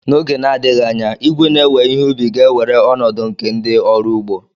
N'oge na-adịghị anya, igwe na-ewe ihe ubi ga-ewere ọnọdụ nke ndị ọrụ ugbo.